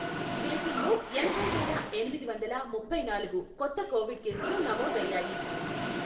దేశంలో ఎనభైవేల ఎనిమిది వందల ముప్పై నాలుగు కొత్త కోవిడ్ కేసులు నమోదయ్యాయి.